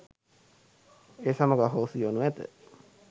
ඒ සමඟ අහෝසි වනු ඇත.